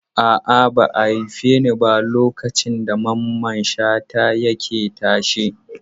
A'a, ba a haife ni ba lokacin da Mamman Shata yake tashe.